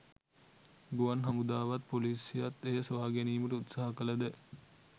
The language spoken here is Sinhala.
ගුවන් හමුදාවත් පොලිසියත් එය සොයාගැනීමට උත්සාහ කළද